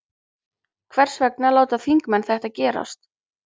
Hvers vegna láta þingmenn þetta gerast?